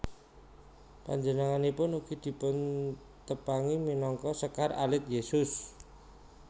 Panjenenganipun ugi dipuntepangi minangka Sekar Alit Yesus